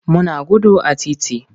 Muna gudu a titi.